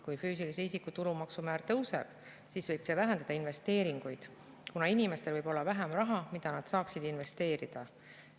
Kui füüsilise isiku tulumaksu määr tõuseb, siis võib see vähendada investeeringuid, kuna inimestel võib olla vähem raha, mida nad saaksid investeerida.